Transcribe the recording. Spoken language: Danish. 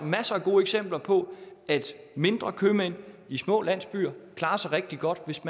masser af gode eksempler på at mindre købmænd i små landsbyer klarer sig rigtig godt hvis